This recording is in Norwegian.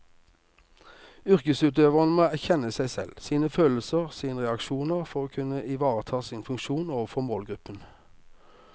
Yrkesutøverne må kjenne seg selv, sine følelser og sine reaksjoner for å kunne ivareta sin funksjon overfor målgruppen.